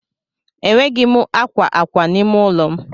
Enweghị m akwa akwa n'ime ụlọ m.